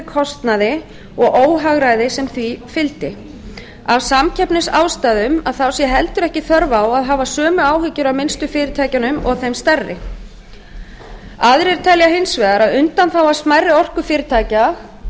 kostnaði og óhagræði sem því fylgdi af samkeppnisástæðum sé heldur ekki þörf á að hafa sömu áhyggjur af minnstu fyrirtækjunum og þeim stærri aðrir telja hins vegar að undanþága smærri orkufyrirtækja byggð